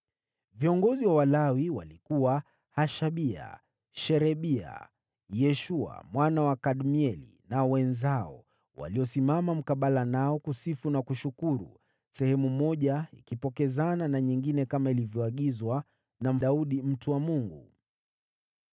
Viongozi wa Walawi walikuwa: Hashabia, Sherebia, Yeshua mwana wa Kadmieli na wenzao, waliosimama mkabala nao kusifu na kushukuru, sehemu moja ikipokezana na nyingine kama ilivyoagizwa na Daudi mtu wa Mungu.